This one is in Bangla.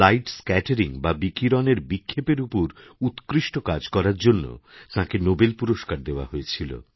লাইট স্ক্যাটারিং বা বিকিরণের বিক্ষেপের উপর উৎকৃষ্ট কাজকরার জন্য তাঁকে নোবেল পুরস্কার দেওয়া হয়েছিল